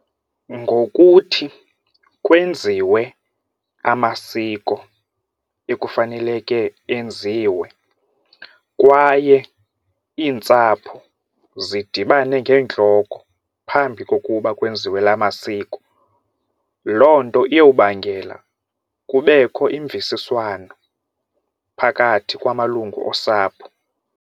Ngokuthi kwenziwe amasiko ekufaneleke enziwe kwaye iintsapho zidibane ngeentloko phambi kokuba kwenziwe la masiko, loo nto iyobangela kubekho imvisiswano phakathi kwamalungu osapho.